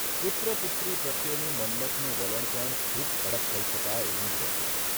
પુત્ર પુત્રી પ્રત્યેનું મન્મથનું વલણ પણ ખુબ કડક કહી શકાય એવું જ રહેતું.